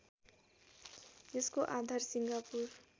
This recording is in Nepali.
यसको आधार सिङ्गापुर